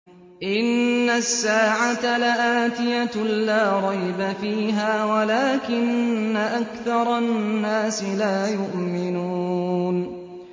إِنَّ السَّاعَةَ لَآتِيَةٌ لَّا رَيْبَ فِيهَا وَلَٰكِنَّ أَكْثَرَ النَّاسِ لَا يُؤْمِنُونَ